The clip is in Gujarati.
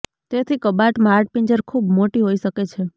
તેથી કબાટ માં હાડપિંજર ખૂબ મોટી હોઈ શકે છે